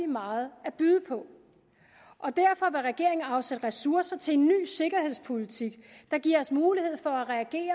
meget at byde på og derfor vil regeringen afsætte ressourcer til en ny sikkerhedspolitik der giver os mulighed for